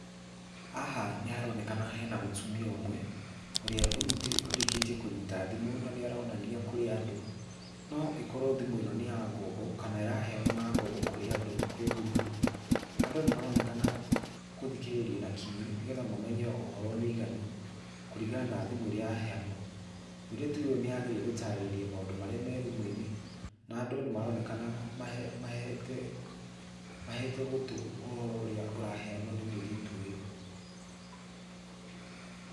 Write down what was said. Haha nĩ haronekana hena mũtumia ũmwe, ũrĩa ũrĩkĩtie kũnyita thimũ, na nĩ aronania kũrĩ andũ. No ĩkorwo thimũ ĩno nĩ ya ng'ombo, kana ĩraheanwo na ngombo kũrĩ andũ kwĩ ngurubu, andũ nĩ maronekana kũthikĩrĩria na kinyi nĩgetha mamenye ũhoro mũiganu, kũringana na thimũ ĩrĩa yaheanwa. Mũirĩtu ũyũ nĩ arageria gũtarĩriia maũndũ marĩa me thimũ-inĩ, na andũ nĩ maronekana, mahete, mahete gũtũ ũhoro ũrĩa ũraheanwo nĩ mũirĩtu ũyũ.